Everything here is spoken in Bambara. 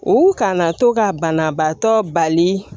U kana to ka banabaatɔ bali